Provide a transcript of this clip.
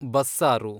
ಬಸ್ಸಾರು